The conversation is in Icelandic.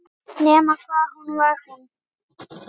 Nema hvað hann var hún.